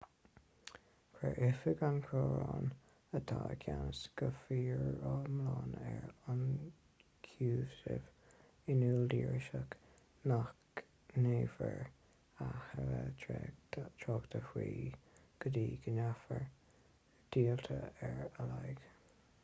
chuir oifig an choróin atá i gceannas go foriomlán ar ionchúisimh in iúl d'iriseoirí nach ndéanfar a thuilleadh tráchta faoi go dtí go ndéanfar díotáil ar a laghad